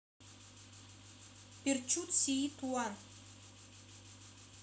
перчут сеи туан